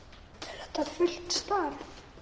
Er þetta fullt starf?